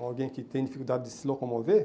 alguém que tem dificuldade de se locomover.